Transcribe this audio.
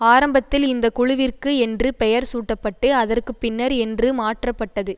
ஆரம்பத்தில் இந்த குழுவிற்கு என்று பெயர் சூட்டப்பட்டு அதற்கு பின்னர் என்று மாற்றப்பட்டது